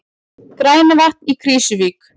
Grænavatn í Krýsuvík.